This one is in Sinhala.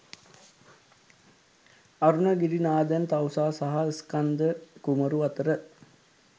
අරුණගිරිනාදන් තවුසා සහ ස්කන්‍ධකුමරු අතර